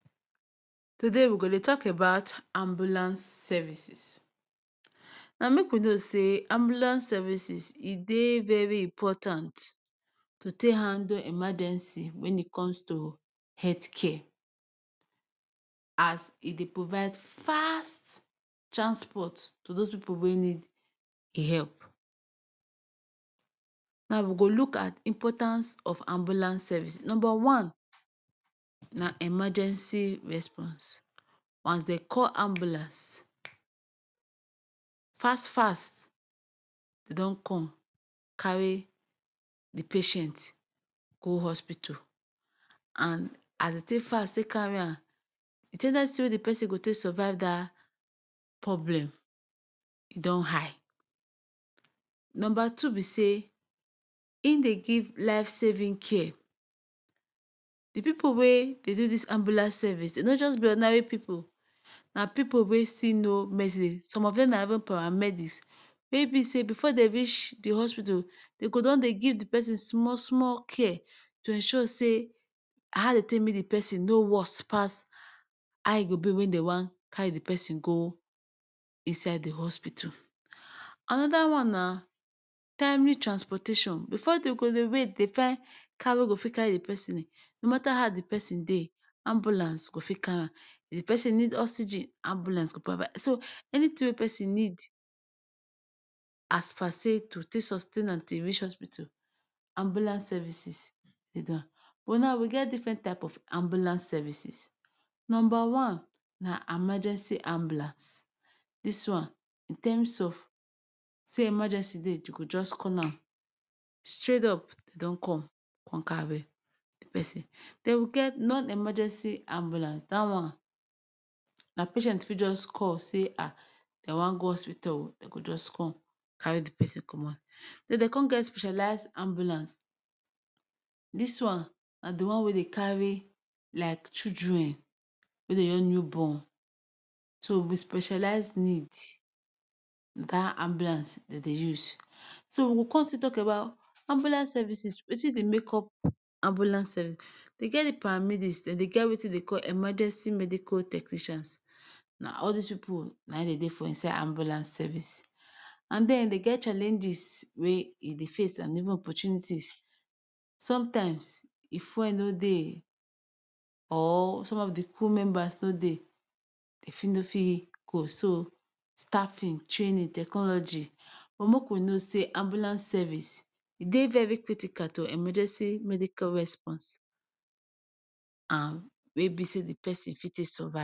Today we go Dey talk ambulance services, na make we know say ambulance services e Dey very important to take handle emergency when e come to health care?? As e Dey provide fast transport to those pipu wey need help,?? Na we go look at importance of ambulance Service,,number one na emergency response, wan dem call ambulance fast fast e don come carry the patient go hospital and as dem take fast take carry am the ten dency wey the person go take survive that problem e don high, number two be say in Dey give life saving care, the pipu wey Dey do this ambulance service dem no just be ordinary pipu na pipu wey still know medsin, some of dem na even paramedics wey be say before them reach the hospital dem go don Dey give the person small small care to ensure say ha dem take meet the person no worst pass ha e go be when dem wan carry the person go inside the hospital?? Anada wan na timely transportation before dem go Dey wait to Dey find car wey go fit carry the person no matter ha the person Dey if the person need oxygen ambulance go parva, so anything wey d person need as per say to take sustain an till e reach hospital ambulance Dey do am but now we get different type of ambulance services number one na amergency ambulance this wan in terms of say emergency Dey ,dem go just call am, straight up dem don come come carry the person, dem we get non emergency ambulance that wan na patient fit just call say ha dem wan go hospital dem go just come carry the person comot, dem dem con get specialized ambulance this wan na the one wey Dey carry like children wey Dey just new born so with specialized need na that ambulance dem Dey use, so we con still talk about ambulance service Wetin Dey make up ambulance serv den get the paramedics dem Dey get Wetin dem call emergency medical technicians na all this pipu na in Dey Dey for inside ambulance service and then dem get challenges wey dem Dey face and even opportunities sometimes if fuel no Dey or some of the cu members no Dey dem fit no fit go so staffing, training, technology, but make we know say ambulance service e Dey very critical to emergency medical response and wey be say the person fit take survive